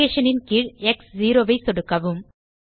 location ன் கீழ் X 0 ஐ சொடுக்கவும்